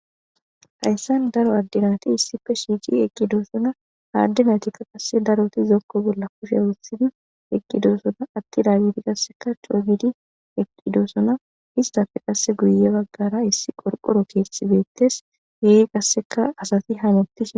Haysan daro Ade nati issipe shiqidi eqidosona ha ade naytika daroti zoko bola kushe wotidi eqidosona eqidageti qaseka c'oo gidi eqidosona istape guye bagara qase qorqoro kethi betes he qaseka asati hametishe dosona.